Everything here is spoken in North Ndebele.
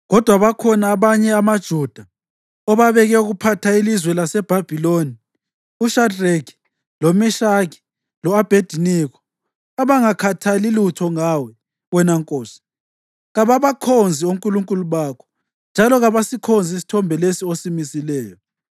Kodwa bakhona abanye amaJuda obabeke ukuphatha ilizwe laseBhabhiloni, uShadreki, loMeshaki lo-Abhediniko, abangakhathali lutho ngawe, wena nkosi. Kababakhonzi onkulunkulu bakho njalo kabasikhonzi isithombe lesi osimisileyo.”